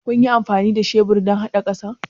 Kunyi amfani da shebur dan hada ƙasa?